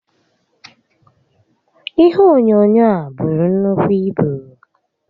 Ihe onyoonyoo a buru nnukwu ibu